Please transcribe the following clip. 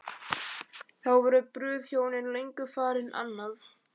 Þá voru brúðhjónin löngu farin annað.